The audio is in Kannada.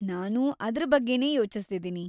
ನಾನೂ ಅದ್ರ್ ಬಗ್ಗೆನೇ ಯೋಚಿಸ್ತಿದೀನಿ.